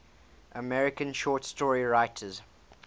american short story writers